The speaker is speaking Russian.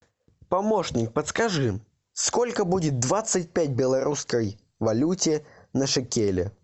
помощник подскажи сколько будет двадцать пять белорусской валюте на шекели